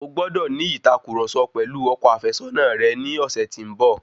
O gbọ́dọ̀ ní ìtàkurọ̀sọ pẹ̀lú ọkọ àfẹ́sọ̀na rẹ ní ọ̀sẹ̀ tí ń bọ̀.